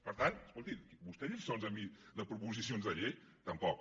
per tant escolti vostè lliçons a mi de proposicions de llei tampoc